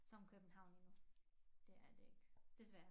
Som københavn det er det ikke desværre